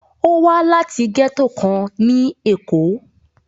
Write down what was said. Ó wá láti gẹ́tò kan ní Èkó.